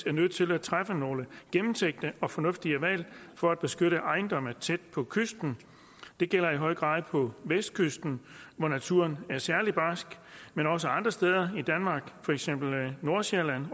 er nødt til at træffe nogle gennemtænkte og fornuftige valg for at beskytte ejendomme tæt på kysten det gælder i høj grad på vestkysten hvor naturen er særlig barsk men også andre steder i danmark for eksempel nordsjælland